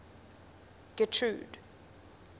getrude